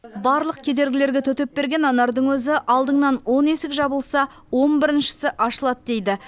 барлық кедергілерге төтеп берген анардың өзі алдыңнан он есік жабылса он біріншісі ашылады дейді